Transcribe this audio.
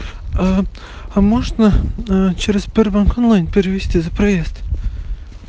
а а можно через сбербанк онлайн перевести за проезд